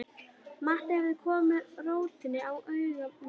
Matti hafði komið róti á huga minn.